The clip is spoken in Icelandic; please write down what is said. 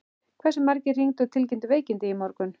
Hversu margir hringdu og tilkynntu veikindi í morgun?